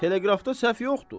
Teleqrafda səhv yoxdur.